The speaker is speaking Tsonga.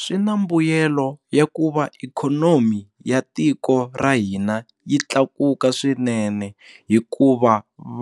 Swi na mbuyelo ya ku va ikhonomi ya tiko ra hina yi tlakuka swinene hikuva